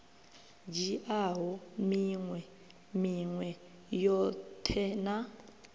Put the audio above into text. dzhiaho minwe minwe yoṱhe na